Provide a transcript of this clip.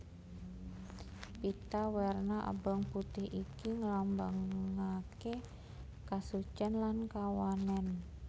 Pita werna abang putih iki nglambangaké kasucèn lan kawanèn